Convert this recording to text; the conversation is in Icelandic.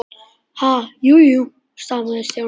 Ha- jú, jú stamaði Stjáni.